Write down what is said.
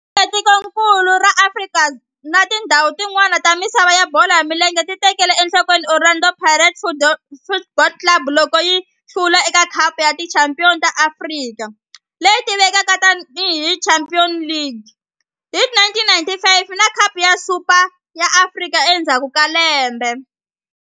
Tikonkulu ra Afrika na tindzhawu tin'wana ta misava ya bolo ya milenge ti tekele enhlokweni Orlando Pirates Football Club loko yi hlula eka Khapu ya Tichampion ta Afrika leyi tivekaka tani hi Champions League hi 1995 na Khapu ya Super ya Afrika endzhaku ka lembe.